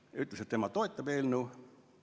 Ta ütles, et tema toetab eelnõu.